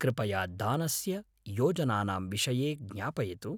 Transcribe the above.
कृपया दानस्य योजनानां विषये ज्ञापयतु।